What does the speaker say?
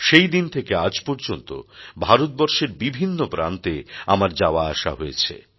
সেই দিন থেকে আজ পর্যন্ত ভারতবর্ষের বিভিন্ন প্রান্তে আমার যাওয়া আসা হয়েছে